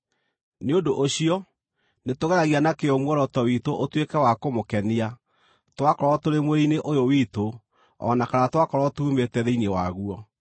Nĩ ũndũ ũcio, nĩtũgeragia na kĩyo muoroto witũ ũtuĩke wa kũmũkenia, twakorwo tũrĩ mwĩrĩ-inĩ ũyũ witũ o na kana twakorwo tuumĩte thĩinĩ waguo.